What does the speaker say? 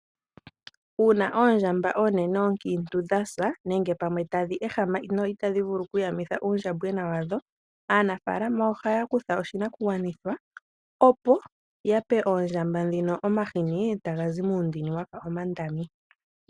Uuna oondjamba onene ookiintu dha sa nenge tadhi ehama no itadhi vulu okuyamutha uundjambona wadho .Aanafaalama ohaya kutha oshinakugwanithwa opo ya pe ondjamba dhoka omahini taga zi mu ndini wafa omandami .